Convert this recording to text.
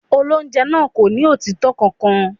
Olóńjẹ náà kò ní òtítọ́ kankan.